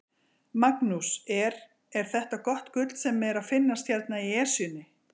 Magnús, er, er þetta gott gull sem er að finnast hérna í Esjunni?